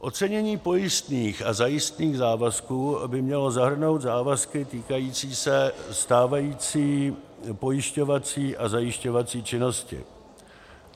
Ocenění pojistných a zajistných závazků by mělo zahrnout závazky týkající se stávající pojišťovací a zajišťovací činnosti.